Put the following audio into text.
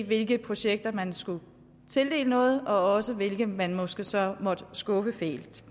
hvilke projekter man skulle tildele noget og hvilke man måske så måtte skuffe fælt